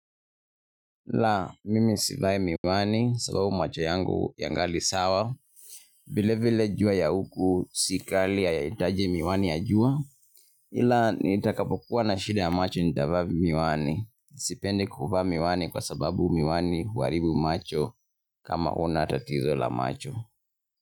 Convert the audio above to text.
La, mimi sivai miwani sababu macho yangu yangali sawa, vile vile jua ya huku si kali hahitaji miwani ya jua, ila nitakapokua na shida ya macho nitavaa miwani, sipendi kuvaa miwani kwa sababu miwani huharibu macho kama huna tatizo la macho.